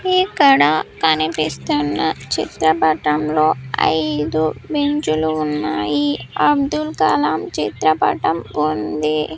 ఇక్కడ కనిపిస్తున్న చిత్రపటంలో ఐదు బెంచు లు ఉన్నాయి అబ్దుల్ కలాం చిత్రపటం ఉంది.